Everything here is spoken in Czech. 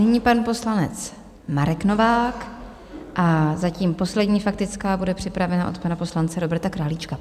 Nyní pan poslanec Marek Novák a zatím poslední faktická bude připravena od pana poslance Roberta Králíčka.